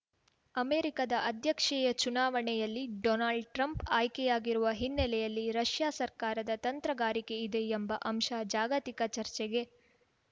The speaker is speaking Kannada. ಅಮೆರಿಕದ ಅಧ್ಯಕ್ಷೀಯ ಚುನಾವಣೆಯಲ್ಲಿ ಡೊನಾಲ್ಡ್‌ ಟ್ರಂಪ್‌ ಆಯ್ಕೆಯಾಗಿರುವ ಹಿನ್ನಲೆಯಲ್ಲಿ ರಷ್ಯಾ ಸರ್ಕಾರದ ತಂತ್ರಗಾರಿಕೆ ಇದೆ ಎಂಬ ಅಂಶ ಜಾಗತಿಕ ಚರ್ಚೆಗೆ